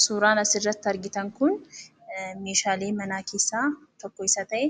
Suuraan asirratti argitan kun meeshaalee manaa keessaa tokko isa ta'e